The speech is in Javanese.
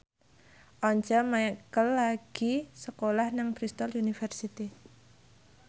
Once Mekel lagi sekolah nang Bristol university